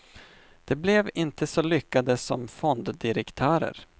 De blev inte så lyckade som fonddirektörer.